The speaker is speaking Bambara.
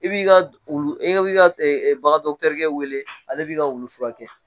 I b'i ka wulu i bi ka bagan dɔgɔtɔrikɛ wele ale b'i ka wulu furakɛ.